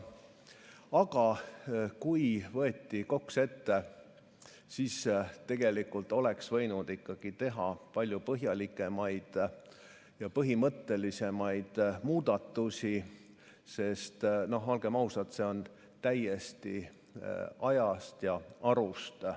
Aga kui võeti KOKS ette, siis oleks võinud teha palju põhjalikumaid ja põhimõttelisemaid muudatusi, sest olgem ausad, see on täiesti ajast ja arust.